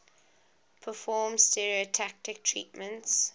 perform stereotactic treatments